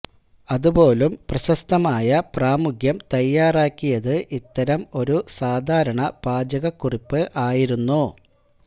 അത് പോലും പ്രശസ്തമായ പ്രാമുഖ്യം തയ്യാറാക്കിയത് ഇത്തരം ഒരു സാധാരണ പാചകക്കുറിപ്പ് ആയിരുന്നു